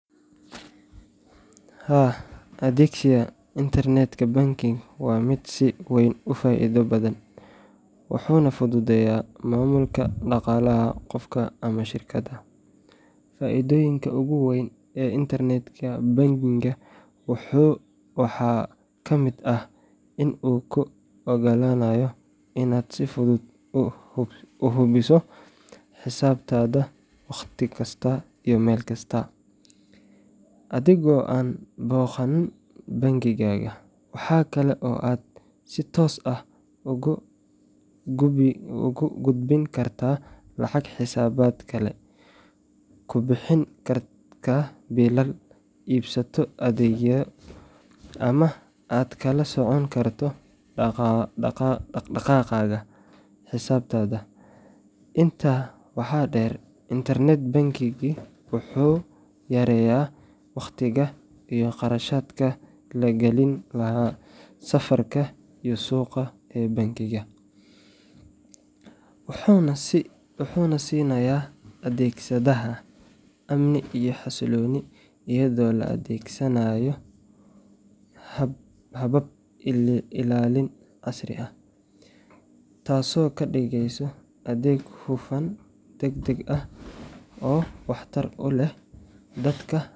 Haa, adeegsiga Internet Banking waa mid si weyn u faa’iido badan, wuxuuna fududeeyaa maamulka dhaqaalaha qofka ama shirkadda. Faa’iidooyinka ugu waaweyn ee Internet Banking waxaa ka mid ah in uu kuu oggolaanayo inaad si fudud u hubiso xisaabtaada wakhti kasta iyo meel kasta, adigoo aan booqan bangiga. Waxa kale oo aad si toos ah ugu gudbin kartaa lacag xisaabaad kale, ku bixin kartaa biilal, iibsato adeegyo, ama aad kala socon karto dhaqdhaqaaqa xisaabtaada. Intaa waxaa dheer, Internet Banking wuxuu yareeyaa waqtiga iyo kharashaadka la gelin lahaa safarka iyo suuga ee bangiga, wuxuuna siinayaa adeegsadeha amni iyo xasilooni iyadoo la adeegsanayo habab ilaalin casri ah. Taasoo ka dhigaysa adeeg hufan, degdeg ah, oo waxtar u leh dadka.